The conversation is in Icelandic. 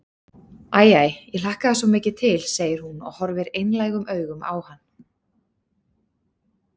Æ, æ, ég hlakkaði svo mikið til, segir hún og horfir einlægum augum á hann.